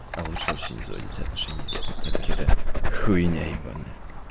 а лучше вообще не заводить отношения так как это хуйня ебаная